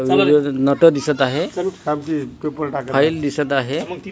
Nut दिसत आहे file दिसत आहे.